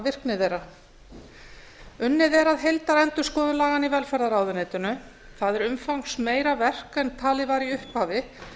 virkni þeirra unnið er að heildarendurskoðun laganna í velferðarráðuneytinu það er umfangsmeira verk en talið var í upphafi